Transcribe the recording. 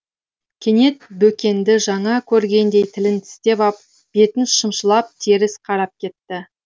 кенет бөкенді жаңа көргендей тілін тістеп ап бетін шымшылап теріс қарап кетті